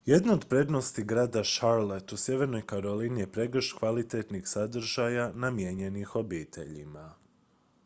jedna od prednosti grada charlotte u sjevernoj karolini je pregršt kvalitetnih sadržaja namijenjenih obiteljima